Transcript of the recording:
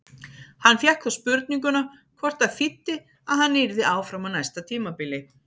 Hann fékk þá spurninguna hvort það þýddi að hann yrði áfram á næsta tímabili?